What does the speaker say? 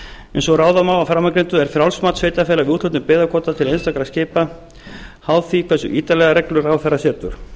eins og ráða má af framangreindu er frjálst mat sveitarfélaga við úthlutun byggðakvóta til einstakra skipa háð því hversu ítarlegar reglur ráðherra setur